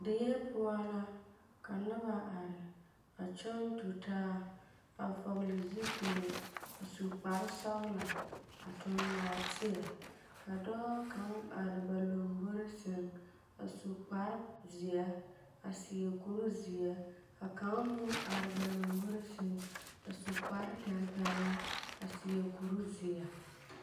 Die poͻ la ka noba a kyͻŋ tutaa, a vͻgele zupile a su kpare sͻgelͻ, a eŋ nͻͻteԑ. Ka dͻͻ kaŋa are ba lomboriŋ sԑŋ a su kpare zeԑ a seԑ kuri zeԑ, ka kaŋ meŋ are ba lomboriŋ a su kpare tampԑloŋ a seԑ kuri zeԑ.